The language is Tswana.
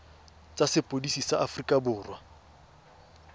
tsa sepodisi sa aforika borwa